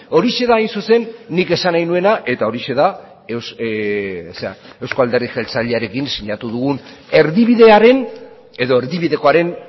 horixe da hain zuzen nik esan nahi nuena eta horixe da euzko alderdi jeltzalearekin sinatu dugun erdibidearen edo erdibidekoaren